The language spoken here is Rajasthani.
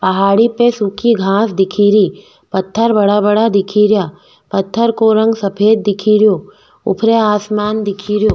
पहाड़ी पे सुखी घास दिख री पत्थर बड़ा बड़ा दिख रिया पत्थर को रंग सफ़ेद दिख रो ऊपर आसमान दिख रो।